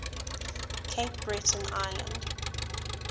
cape breton island